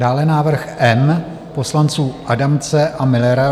Dále návrh M poslanců Adamce a Müllera.